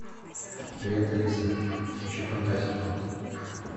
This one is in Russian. привет алиса включи фантастику